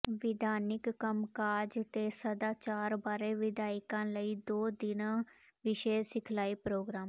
ਵਿਧਾਨਿਕ ਕੰਮਕਾਜ ਤੇ ਸਦਾਚਾਰ ਬਾਰੇ ਵਿਧਾਇਕਾਂ ਲਈ ਦੋ ਦਿਨਾਂ ਵਿਸ਼ੇਸ਼ ਸਿਖਲਾਈ ਪ੍ਰੋਗਰਾਮ